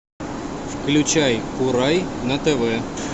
включай курай на тв